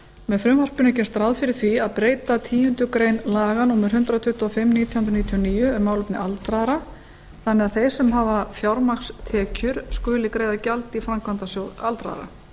með frumvarpinu er gert ráð fyrir því að breyta tíundu grein laga númer hundrað tuttugu og fimm nítján hundruð níutíu og níu um málefni aldraðra þannig að þeir sem hafa fjármagnstekjur skuli greiða gjald í framkvæmdasjóð aldraðra